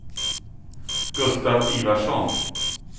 Gustaf Ivarsson